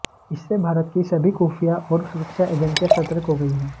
इससे भारत की सभी खुफिया और सुरक्षा एजेंसियां सतर्क हो गई हैं